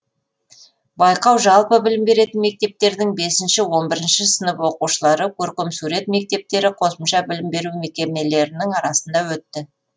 байқау жалпы білім беретін мектептердің бесінші он бірінші сынып оқушылары көркемсурет мектептері қосымша білім беру мекемелерінің арасында өтті